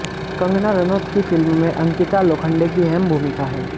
कंगना रनौत की फिल्म में अंकिता लोखंडे की अहम भूमिका है